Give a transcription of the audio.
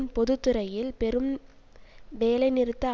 பொது துறையில் பெரும் வேலை நிறுத்த